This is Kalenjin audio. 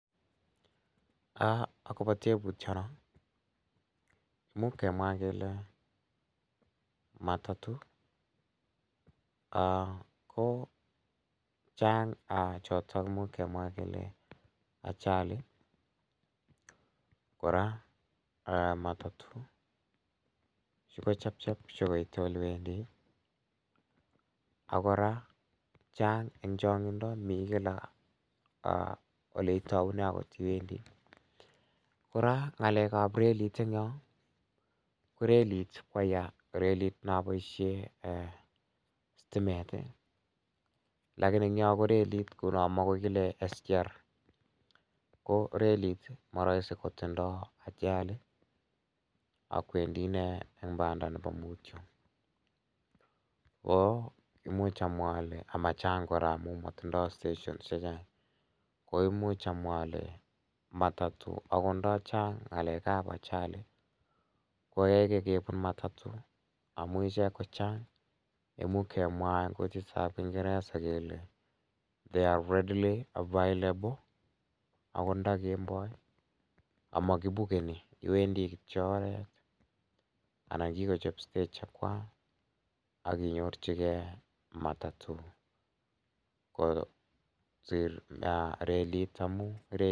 Imuch kemwa kele chan ko choto imuch kemwa kele ajali kora matatu kochebcheb koite olekawendi akora Chang en chang'into mi Kila oleitaunen iwendii, kora ko relit koyaa naan boisien sitimet ih lakini ko relit nekile SGR komatindo ajalit ih akwendi ine en banda nebo muutyo ko imuch amwa ale matindo station chechang koimuch amwa ale matatu amuun iche kochang imuch kemwa en kutitab kingereza kele readly available Ako nda Kemboi amakibukeni iwendii kityo oret aginyorchige matatu kosir relit amu